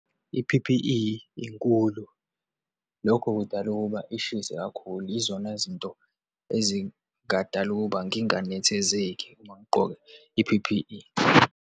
I-P_P_E inkulu, lokho kudala ukuba ishise kakhulu, yizona zinto ezingadala ukuba nginganethezeki uma ngigqoke i-P_P_E.